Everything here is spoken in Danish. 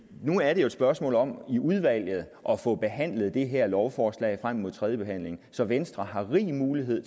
nu er det jo et spørgsmål om i udvalget at få behandlet det her lovforslag frem mod tredjebehandlingen så venstre har rig mulighed